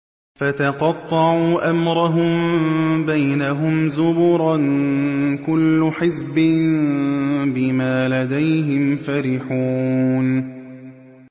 فَتَقَطَّعُوا أَمْرَهُم بَيْنَهُمْ زُبُرًا ۖ كُلُّ حِزْبٍ بِمَا لَدَيْهِمْ فَرِحُونَ